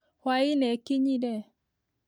Hwainĩ ĩkinyire